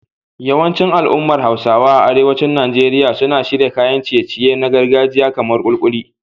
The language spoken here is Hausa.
Yawancin al'ummar Hausawa a arewacin Najeriya suna shirya kayan ciye-ciye na gargajiya kamar kulikuli